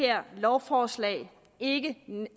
det her lovforslag ikke